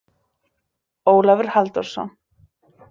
Ólafur Halldórsson.